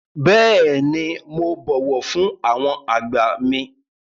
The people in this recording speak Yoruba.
Bẹ́ẹ̀ni, mo bọ̀wọ̀ fún àwọn àgbà mi.